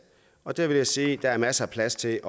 og der vil jeg sige at der er masser af plads til